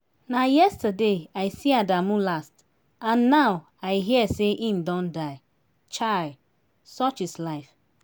na yesterday i see adamu last and now i hear say im don die. chai! such is life